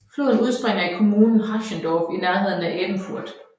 Floden udspringer i kommunen Haschendorf i nærheden af Ebenfurth